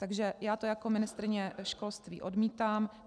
Takže já to jako ministryně školství odmítám.